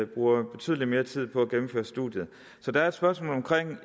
bruger betydelig mere tid på at gennemføre studiet så det er et spørgsmål om